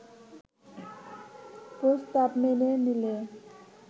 প্রস্তাব মেনে নিলে